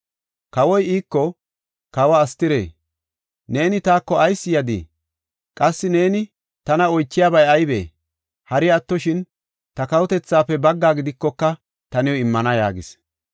Kawoy iiko, “Kawe Astire, neeni taako ayis yadii? Qassi neeni tana oychiyabay aybee? Hari attoshin ta kawotethaafe baggaa gidikoka, ta new immana” yaagis.